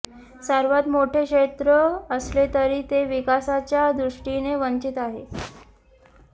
सर्वात मोठे क्षेत्र असले तरी ते विकासाच्या दृष्टीने वंचीत आहे